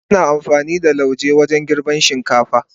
Ana amfani da lauje wajen girbin shinkafa.